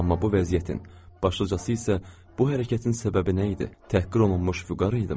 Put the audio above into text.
Amma bu vəziyyətin, başlıcası isə bu hərəkətin səbəbi nə idi, təhqir olunmuş vüqar idimi?